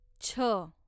छ